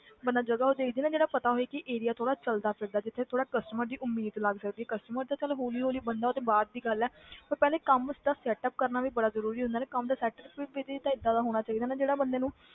ਮਤਲਬ ਜਦੋਂ ਦੇਖਦੀ ਹਾਂ ਨਾ ਜਿਹੜਾ ਪਤਾ ਹੋਵੇ ਕਿ area ਥੋੜ੍ਹਾ ਚੱਲਦਾ ਫਿਰਦਾ ਜਿੱਥੇ ਥੋੜ੍ਹਾ customer ਦੀ ਉਮੀਦ ਲੱਗ ਸਕਦੀ customer ਤੇ ਚੱਲ ਹੌਲੀ ਹੌਲੀ ਬਣਦਾ ਉਹ ਤੇ ਬਾਅਦ ਦੀ ਗੱਲ ਹੈ ਪਰ ਪਹਿਲੇ ਕੰਮ ਦਾ setup ਕਰਨਾ ਵੀ ਬੜਾ ਜ਼ਰੂਰੀ ਹੂੰਦਾ ਨਾ ਕੰਮ ਦਾ setup ਵੀ ਵੀ ਤਾਂ ਏਦਾਂ ਦਾ ਹੋਣਾ ਚਾਹੀਦਾ ਨਾ ਜਿਹੜਾ ਬੰਦੇ ਨੂੰ,